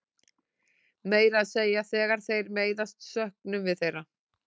Meira að segja þegar þeir meiðast söknum við þeirra.